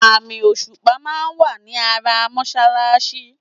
Àmì òṣùpà máa wà ní ara mọ́ṣáláṣí.